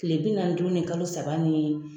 Kile bi naani ni duuru ni kalo saba ni